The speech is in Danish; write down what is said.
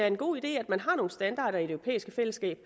en god idé at man har nogle standarder i det europæiske fællesskab